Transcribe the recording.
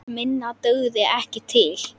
Minna dugði ekki til.